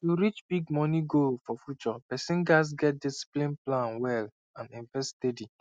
to reach big money goal for future person gats get discipline plan well and invest steady